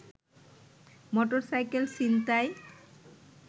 motorcycle ছিনতাই